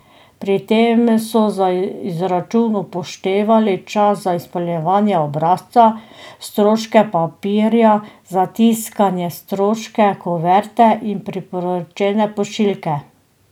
Pri tem so za izračun upoštevali čas za izpolnjevanje obrazca, stroške papirja za tiskanje, stroške kuverte in priporočene pošiljke.